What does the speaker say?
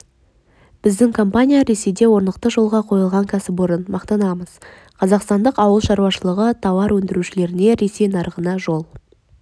біздің компания ресейде орнықты жолға қойылған кәсіпорын мақсатымыз қазақстандық ауыл шаруашылығы тауар өндірушілеріне ресей нарығына жол